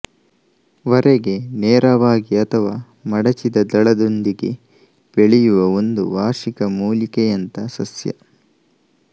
ವರೆಗೆ ನೇರವಾಗಿ ಅಥವಾ ಮಡಚಿದ ದಳಗಳೊಂದಿಗೆ ಬೆಳೆಯುವ ಒಂದು ವಾರ್ಷಿಕ ಮೂಲಿಕೆಯಂಥ ಸಸ್ಯ